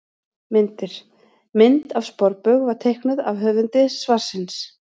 Myndir: Mynd af sporbaug var teiknuð af höfundi svarsins.